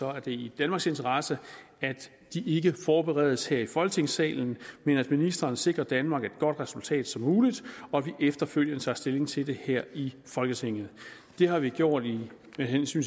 er det i danmarks interesse at de ikke forberedes her i folketingssalen men at ministeren sikrer danmark et godt resultat som muligt og at vi efterfølgende tager stilling til det her i folketinget det har vi gjort med hensyn